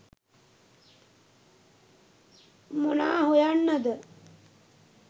මොනා හොයන්නද